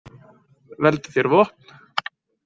Veldu þér vopn.